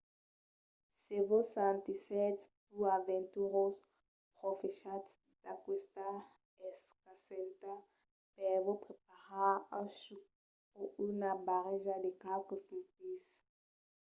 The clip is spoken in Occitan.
se vos sentissètz pus aventurós profechatz d'aquesta escasença per vos preparar un chuc o una barreja de qualques smoothies